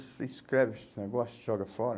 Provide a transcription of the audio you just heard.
Você escreve esse negócio e joga fora?